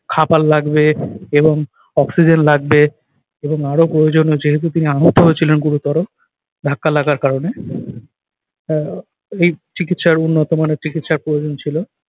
খাবার লাগবে এবং অক্সিজেন লাগবে এবং আরো প্রয়োজনীয় যেহেতু তিনি আহত হয়েছিলেন গুরুতর ধাক্কা লাগার কারণে। আহ এই চিকিৎসার উন্নত মানের চিকিৎসার প্রয়োজন ছিল।